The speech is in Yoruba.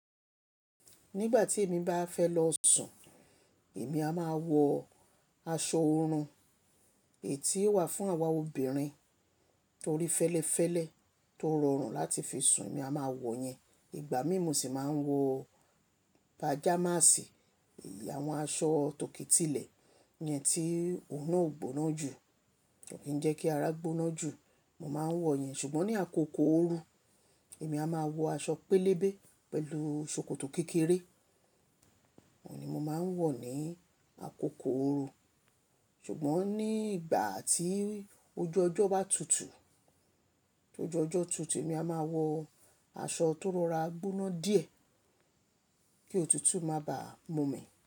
Nígbà tí èmi bá fẹ́ lọ sùn, èmi a máa wọ aṣọ oorun èyí tí ó wà fún àwa obìnrin torí fẹ́lẹ́fẹ́lẹ́ tó rọrùn láti fi sùn, èmi a máa wọ̀ yẹn. Ìgbà mí mo sì máa ń wọ pajamasi, àwọn aṣọ tòkèétìlẹ̀ yẹn tí òun ò gbóná jù, kò kí ń jẹ́ kí ara gbóná jù, mo máa ń wọ̀ yẹn. Ṣùgbọ́n ní àkókò ooru èmi a máa wọ aṣọ pélébé pẹ̀lú ṣòkòtò kékeré, òun ni mo máa ń wọ̀ ní àkókò ooru. Ṣùgbọ́n ní ìgbà tí ojú ọjọ́ bá tutù, tí ojú ọjọ́ tutù, èmi a máa wọ aṣọ tó rọra gbóná díẹ̀ kí òtútù má bà mú mi.